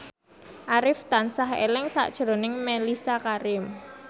Arif tansah eling sakjroning Mellisa Karim